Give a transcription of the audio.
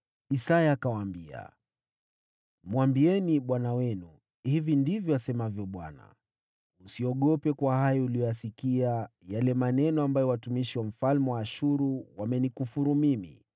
Isaya akawaambia, “Mwambieni bwana wenu, ‘Hili ndilo asemalo Bwana : Usiogope kwa hayo uliyoyasikia, yale maneno ambayo watumishi wa mfalme wa Ashuru wamenitukana nayo.